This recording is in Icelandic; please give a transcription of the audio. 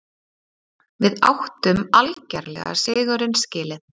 Við áttum algerlega sigurinn skilið.